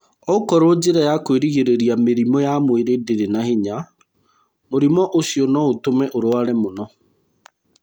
Okorwo njĩra ya kwĩrigĩrĩria mĩrimũ ya mwĩrĩ ndĩrĩ na hinya, mũrimũ ũcio no ũtũme ũrware mũno.